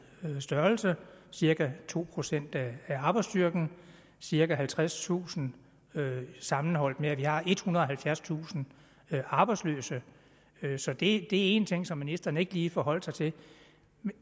størrelse cirka to procent af arbejdsstyrken cirka halvtredstusind sammenholdt med at vi har ethundrede og halvfjerdstusind arbejdsløse så det var én ting som ministeren ikke lige forholdt sig til